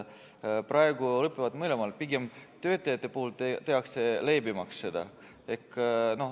Praegu lõpevad need mõlemal, nii et töötajate puhul tehakse seda pigem leebemaks.